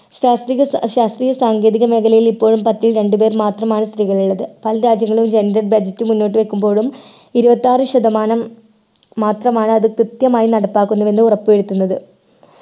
ശാസ്ത്രീയ ഏർ ശാസ്ത്രീയ സാങ്കേതിക മേഖലയിൽ ഇപ്പോഴും പത്തിൽ രണ്ടുപേർ മാത്രമാണ് സ്ത്രീകളുള്ളത് പല രാജ്യങ്ങളിലും gender budget മുന്നോട്ട് വെക്കുമ്പോഴും ഇരുപത്താറു ശതമാനം മാത്രമാണ് അത് കൃത്യമായി നടപ്പാക്കുന്നു എന്ന് ഉറപ്പുവരുത്തുന്നത്